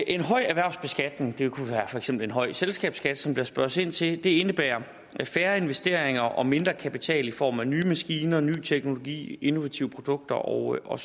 en høj erhvervsbeskatning det kunne for eksempel være en høj selskabsskat som der spørges ind til indebærer færre investeringer og mindre kapital i form af nye maskiner ny teknologi innovative produkter osv og